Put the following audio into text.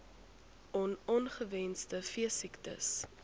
on ongewenste veesiektes